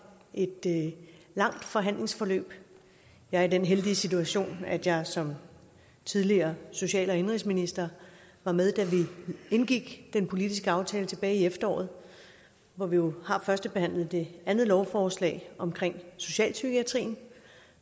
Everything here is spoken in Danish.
et langt forhandlingsforløb jeg er i den heldige situation at jeg som tidligere social og indenrigsminister var med da vi indgik den politiske aftale tilbage i efteråret hvor vi jo har førstebehandlet det andet lovforslag omkring socialpsykiatrien